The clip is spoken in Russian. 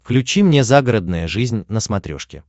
включи мне загородная жизнь на смотрешке